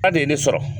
A de ye ne sɔrɔ